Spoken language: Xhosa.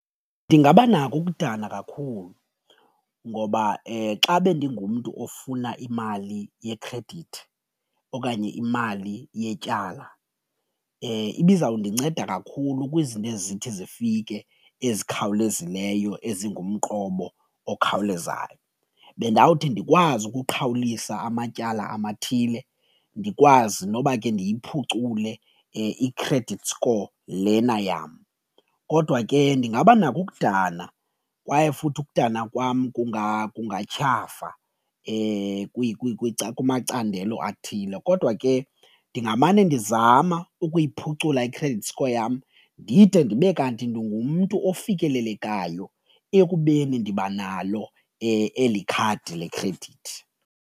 Ndingabanako ukudana kakhulu ngoba xa bendingumntu ofuna imali yekhredithi okanye imali yetyala ibizawundinceda kakhulu kwizinto ezithi zifike ezikhawulezileyo ezingumqobo okhawulezayo. Bendawuthi ndikwazi ukuqhawulisa amatyala amathile, ndikwazi noba ke ndiyiphucule i-credit score lena yam kodwa ke ndingabanako ukudana kwaye futhi ukudana kwam kungatyhafa kumacandelo athile kodwa ke ndingamane ndizama ukuyiphucula i-credit score yam ndide ndibe kanti ndingumntu ofikelelekayo ekubeni ndiba nalo eli khadi lekhredithi.